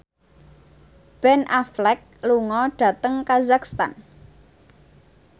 Ben Affleck lunga dhateng kazakhstan